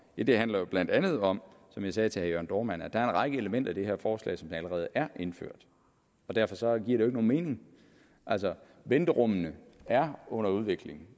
ja det handler jo blandt andet om som jeg sagde til herre jørn dohrmann at der er en række elementer i det her forslag som der allerede er indført og derfor giver det ikke nogen mening altså venterummene er under udvikling